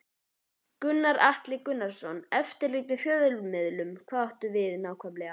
Gunnar Atli Gunnarsson: Eftirlit með fjölmiðlum, hvað áttu við nákvæmlega?